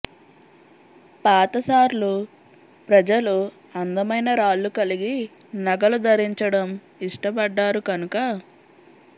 పాత సార్లు ప్రజలు అందమైన రాళ్ళు కలిగి నగలు ధరించడం ఇష్టపడ్డారు కనుక